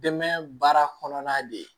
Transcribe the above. Dɛmɛ baara kɔnɔna de ye